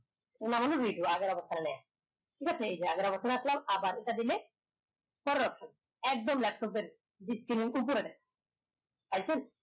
ঠিক আছে আবার এটা দিলে একদম laptop এর display এর উপরে পাইছেন